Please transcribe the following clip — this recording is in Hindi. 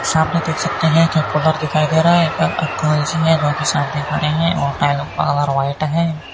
सामने देख सकते हैं क्या कूलर दिखाई दे रहा है क्या कलची है बाकी सामने खड़े हैं और टाइलों का कलर व्हाइट है।